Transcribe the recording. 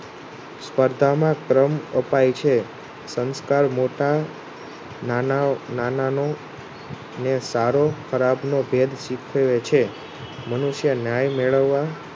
સપર્ધામાં કર્મ અપાય છે સંસકાર મોટા નાના નાનાનું ને સારો ખરાબ નો ભેદ શીખવે છે મનુષ્ય ન્યાય મેળવવા